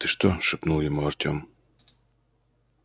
ты что шепнул ему артём